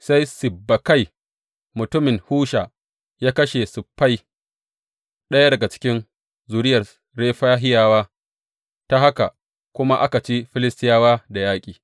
Sai Sibbekai mutumin Husha ya kashe Siffai, ɗaya daga cikin zuriyar Refahiyawa, ta haka kuma aka ci Filistiyawa da yaƙi.